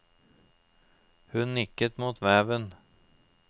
Hun nikket mot veven.